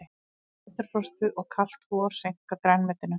Næturfrostið og kalt vor seinka grænmetinu